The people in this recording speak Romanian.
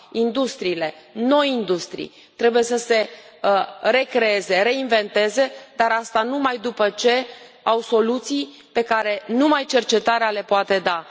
Industriile, noi industrii, trebuie să se recreeze, să se reinventeze, dar asta numai după ce au soluții pe care numai cercetarea le poate da.